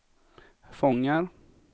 fångar